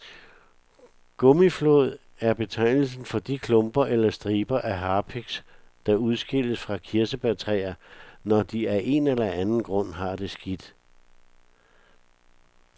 Gummiflåd er betegnelsen for de klumper eller striber af harpiks, der udskilles fra kirsebærtræer, når de af en eller anden grund har det skidt.